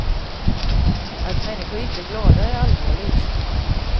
Att människor inte är glada är allvarligt.